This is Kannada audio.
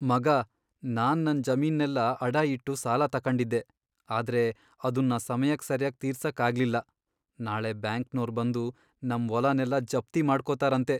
ಮಗಾ, ನಾನ್ ನನ್ ಜಮೀನ್ನೆಲ್ಲ ಅಡ ಇಟ್ಟು ಸಾಲ ತಕಂಡಿದ್ದೆ.. ಆದ್ರೆ ಅದುನ್ನ ಸಮಯಕ್ ಸರ್ಯಾಗ್ ತೀರ್ಸಕ್ ಆಗ್ಲಿಲ್ಲ. ನಾಳೆ ಬ್ಯಾಂಕ್ನೋರ್ ಬಂದು ನಮ್ ವೊಲನೆಲ್ಲ ಜಪ್ತಿ ಮಾಡ್ಕೊತಾರಂತೆ.